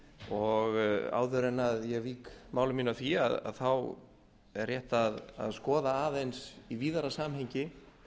og áður en ég vík máli mínu að því er rétt að skoða aðeins í víðara samhengi